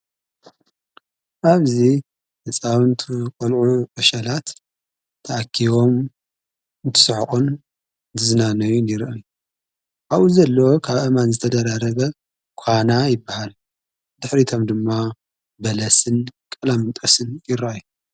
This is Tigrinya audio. ኣብዙ ንፃውንቱ ቈልዑ ኣሸላት ተኣኪዎም ትስሕቁን ዝዝናነዩ ይርአ ኣዉኡ ዘለዎ ካብ ኣማን ዘተደረረበ ኳና ይበሃል ድኅሪቶም ድማ በለስን ቀላምንጠስን ይረየ።